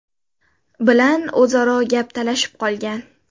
bilan o‘zaro gap talashib qolgan.